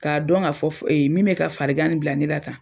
K'a dɔn ŋa fɔ f min bɛ ka farigan nin bila ne la tan